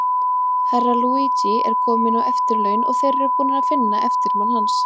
Herra Luigi er kominn á eftirlaun, og þeir eru búnir að finna eftirmann hans.